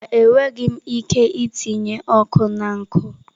Mba, enweghị m ike itinye ọkụ na nkụ.